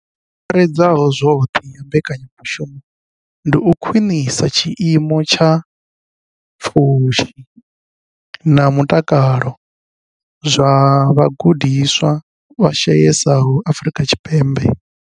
I angaredzaho zwoṱhe ya mbekanyamushumo ndi u khwinisa tshiimo tsha zwa pfushi na mutakalo zwa vhagudiswa vha shayesaho Afrika Tshipembe.